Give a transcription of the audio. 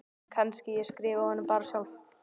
Kannski ég skrifi honum bara sjálf.